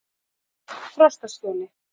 Frostaskjóli